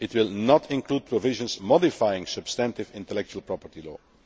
It will not include provisions modifying substantive intellectual property law.